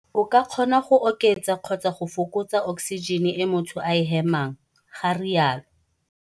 O ka kgona go oketsa kgotsa go fokotsa oksijene e motho a e hemang, ga rialo